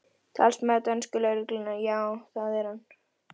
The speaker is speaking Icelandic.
Talsmaður dönsku lögreglunnar: Já, það er hann?